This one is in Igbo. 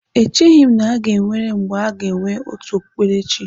Echeghị m na-enwere mgbe aga enwe otu okpukperechi.